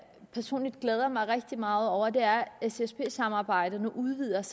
personligt glæder mig rigtig meget over og det er at ssd samarbejdet nu udvides